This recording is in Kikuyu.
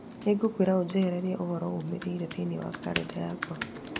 Nĩ ngũkũũria ũnjehererie ũhoro ũmĩrĩire thĩinĩ wa kalendarĩ yakwa